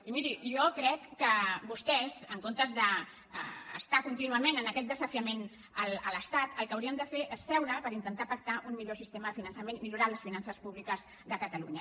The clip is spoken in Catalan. i miri jo crec que vostès en comptes d’estar contínu·ament en aquest desafiament a l’estat el que haurien de fer és seure per intentar pactar un millor sistema de finançament millorar les finances públiques de cata·lunya